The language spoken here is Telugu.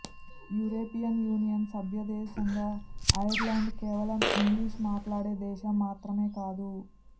యూరోపియన్ యూనియన్ సభ్య దేశంగా ఐర్లాండ్ కేవలం ఇంగ్లిష్ మాట్లాడే దేశం మాత్రమే కాదు